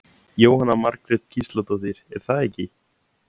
Jóhanna Margrét Gísladóttir: Er það ekki?